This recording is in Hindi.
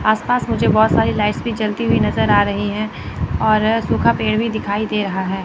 आस पास मुझे बहोत सारी लाइट्स भी जलती हुई नजर आ रही है और सूखा पेड़ भी दिखाई दे रहा है।